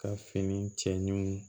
Ka fini cɛ ɲin